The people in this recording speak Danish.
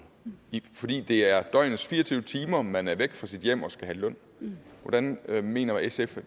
fordi det er døgnets fire og tyve timer man er væk fra sit hjem og skal have løn hvordan mener sf